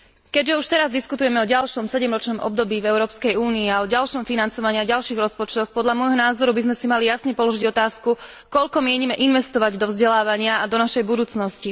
Keďže už teraz diskutujeme o ďalšom sedemročnom období v Európskej únii a o ďalšom financovaní a ďalších rozpočtoch, podľa môjho názoru by sme si mali jasne položiť otázku koľko mienime investovať do vzdelávania a do našej budúcnosti?